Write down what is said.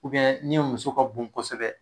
ni muso ka bon kosɛbɛ